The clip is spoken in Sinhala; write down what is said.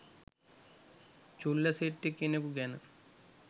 චුල්ලසෙට්ඨි කෙනකු ගැන